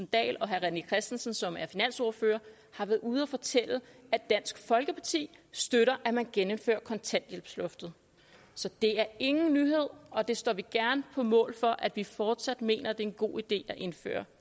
dahl og herre rené christensen som er finansordfører har været ude at fortælle at dansk folkeparti støtter at man genindfører kontanthjælpsloftet så det er ingen nyhed og det står vi gerne på mål for nemlig at vi fortsat mener at det er en god idé at genindføre